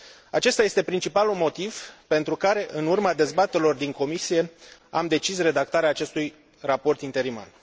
Acesta este principalul motiv pentru care în urma dezbaterilor din Comisie am decis redactarea acestui raport interimar.